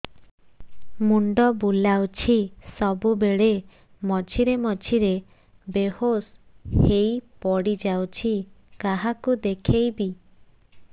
ମୁଣ୍ଡ ବୁଲାଉଛି ସବୁବେଳେ ମଝିରେ ମଝିରେ ବେହୋସ ହେଇ ପଡିଯାଉଛି କାହାକୁ ଦେଖେଇବି